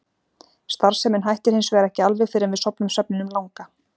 Starfsemin hættir hins vegar ekki alveg fyrr en við sofnum svefninum langa.